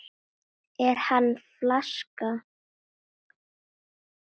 Er hann flaska?